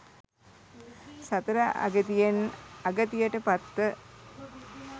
සතර අගතියෙන් අගතියට පත්ව